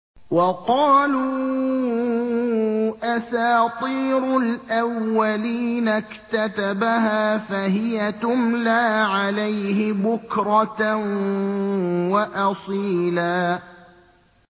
وَقَالُوا أَسَاطِيرُ الْأَوَّلِينَ اكْتَتَبَهَا فَهِيَ تُمْلَىٰ عَلَيْهِ بُكْرَةً وَأَصِيلًا